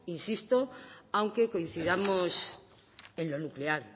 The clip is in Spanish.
insisto aunque coincidamos en lo nuclear